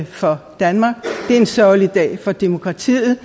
for danmark det er en sørgelig dag for demokratiet